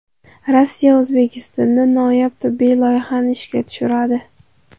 Rossiya O‘zbekistonda noyob tibbiy loyihani ishga tushiradi.